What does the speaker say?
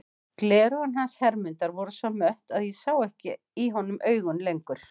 Gleraugun hans Hermundar voru svo mött að ég sá ekki í honum augun lengur.